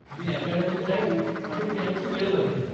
मी अकॅडमीत जाईन आणि त्यांची वेळ बघेन.